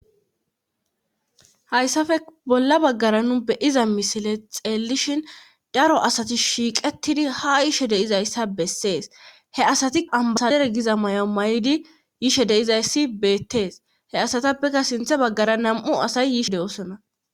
Hayssafe bolla baggara nu beyiza misile xeellishin daro asati shiiqettidi hayishe deizayssa bessees heasati ambasadere giza may'o may'idi yishe deizayssi beettees heasatappekka sinthe baggara nam'u asayi yishe de'osona.